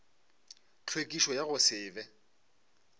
tlhwekišo ya go se be